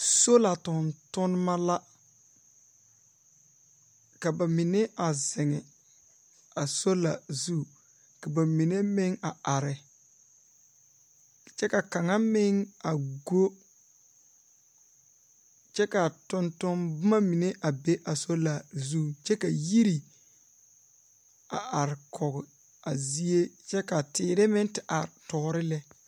Sola tontonnema la. Ka ba mine a zeŋe a sola zu ka ba mine meŋ a are. Kyɛ kaŋa meŋ a go kyɛ k'a tontomboma mine a be a sola zu. Kyɛ ka yiri a ar kɔge a zie kyɛ ka teere meŋ te ar tɔɔre lɛ.